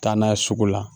Taa n'a ye sugu la